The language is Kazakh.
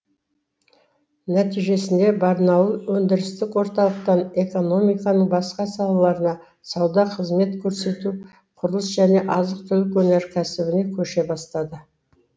нәтижесінде барнауыл өндірістік орталықтан экономиканың басқа салаларына сауда қызмет көрсету құрылыс және азық түлік өнеркәсібіне көше бастады